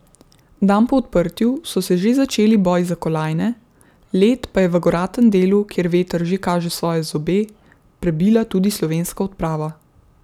Dan po odprtju so se že začeli boji za kolajne, led pa je v goratem delu, kjer veter že kaže svoje zobe, prebila tudi slovenska odprava.